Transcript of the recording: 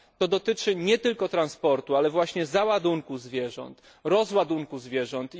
Dotyczy to nie tylko transportu, ale właśnie załadunku zwierząt i rozładunku zwierząt.